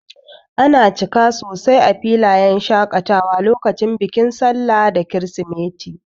Ana cika sosai a filayen shakatawa lokacin bikin sallah da kirisimeti.